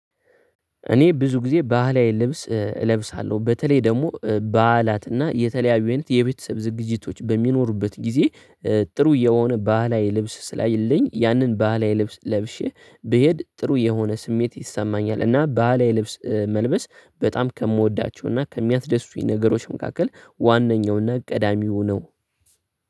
እኔ ብዙ ጊዜ ባህላዊ ልብስ እለብሳለሁ በተለይ ደግሞ በዓላትና የተለያዩ አይነት የቤተሰብ ዝግጅቶች በሚኖሩበት ጊዜ ጥሩ የሆነ ባህላዊ ልብስ ስላየለኝ ያንን ባህላዊ ልብስ ለብሼ ብሄድ ጥሩ የሆነ ስሜት ይሰማኛል እና ባህላዊ ልብስ መልበስ በጣም ከምወዳቸው እና ከሚያስደስቱኝ ነገሮች መካከል ዋናኛውና ቀዳሚው ነው።